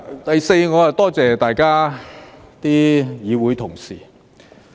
第四，我多謝大家議會同事。